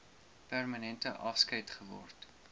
permanente afskeid geword